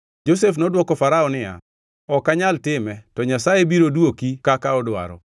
Josef nodwoko Farao niya, “Ok anyal time, to Nyasaye biro dwoki kaka odwaro.”